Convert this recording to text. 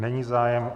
Není zájem.